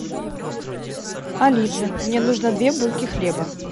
алиса мне нужно две булки хлеба